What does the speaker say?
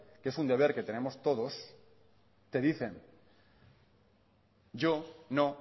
que es un deber que tenemos todos te dicen yo no